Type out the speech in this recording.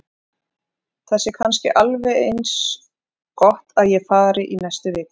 Það sé kannski alveg eins gott að ég fari í næstu viku.